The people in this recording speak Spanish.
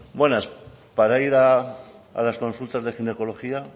buenas para ir a las consultas de ginecología